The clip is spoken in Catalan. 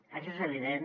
això és evident